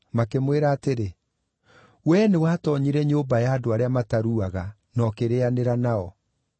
makĩmwĩra atĩrĩ, “Wee nĩwatoonyire nyũmba ya andũ arĩa mataruaga, na ũkĩrĩĩanĩra nao.”